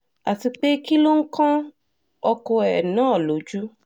àti pé kí ló ń kan ọkọ ẹ̀ náà lójú